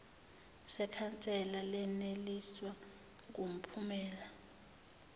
sekhansela leneliswa ngumphumela